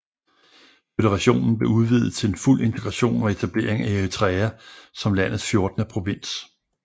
Føderationen blev udvidet til en fuld integration og etablering af Eritrea som landets fjortende provins